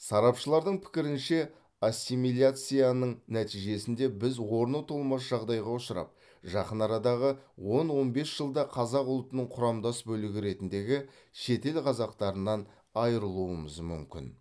сарапшылардың пікірінше ассимиляцияның нәтижесінде біз орны толмас жағдайға ұшырап жақын арадағы он он бес жылда қазақ ұлтының құрамдас бөлігі ретіндегі шетел қазақтарынан айырылуымыз мүмкін